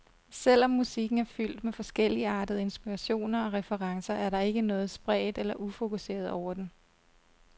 Selv om musikken er fyldt med forskelligartede inspirationer og referencer, er der ikke noget spredt eller ufokuseret over den.